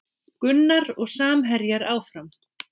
Gunnar og samherjar áfram